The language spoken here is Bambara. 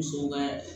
Musow ka